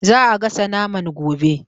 Za'a gasa naman gobe